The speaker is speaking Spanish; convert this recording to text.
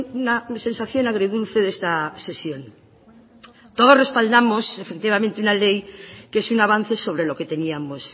una sensación agridulce de esta sesión todos respaldamos efectivamente una ley que es un avance sobre lo que teníamos